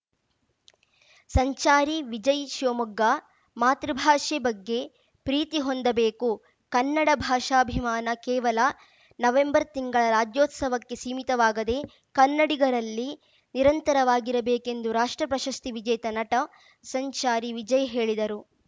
ಸಂಚಾರಿ ವಿಜಯ್‌ ಶಿವಮೊಗ್ಗ ಮಾತೃಭಾಷೆ ಬಗ್ಗೆ ಪ್ರೀತಿ ಹೊಂದಬೇಕು ಕನ್ನಡ ಭಾಷಾಭಿಮಾನ ಕೇವಲ ನವೆಂಬರ್‌ ತಿಂಗಳ ರಾಜ್ಯೋತ್ಸವಕ್ಕೆ ಸೀಮಿತವಾಗದೆ ಕನ್ನಡಿಗರಲ್ಲಿ ನಿರಂತರವಾಗಿರಬೇಕೆಂದು ರಾಷ್ಟ್ರ ಪ್ರಶಸ್ತಿ ವಿಜೇತ ನಟ ಸಂಚಾರಿ ವಿಜಯ್‌ ಹೇಳಿದರು